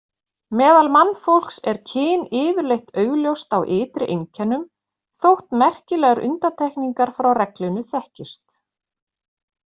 Meðal mannfólks er kyn yfirleitt augljóst á ytri einkennum, þótt merkilegar undantekningar frá reglunni þekkist.